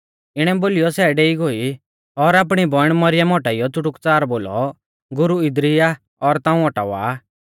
इणै बोलीयौ सै डेई गोई और आपणी बौइण मरियम औटाइयौ च़ुटुकच़ार बोलौ गुरु इदरी आ और ताऊं औटावा आ